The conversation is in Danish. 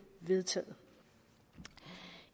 vedtaget